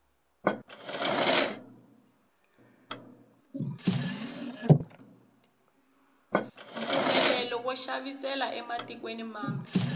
mpfumelelo wo xavisela ematikweni mambe